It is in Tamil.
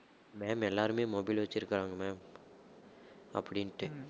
ma'am எல்லாருமே mobile வெச்சிருக்காங்க ma'am அப்படின்னுட்டு